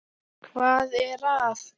. hvað er að.